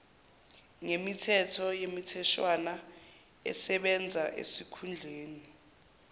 ngemithetho nemitheshwana esebenzaesikhundleni